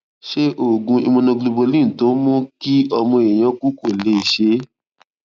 ṣé oògùn immunoglobulin tó ń mú kí ọmọ èèyàn kú kò lè ṣe é